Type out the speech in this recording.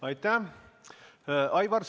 Aitäh!